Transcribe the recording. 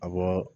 A bɔ